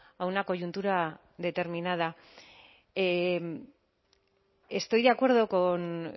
a una coyuntura determinada estoy de acuerdo